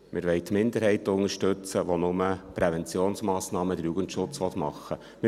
«Wir wollen die Minderheit unterstützen, die nur die Präventionsmassnahmen und den Jugendschutz machen will.